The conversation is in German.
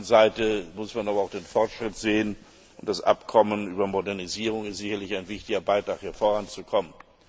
Auf der anderen Seite muss man aber auch den Fortschritt sehen, und das Abkommen über Modernisierung ist sicherlich ein wichtiger Beitrag, hier voranzukommen.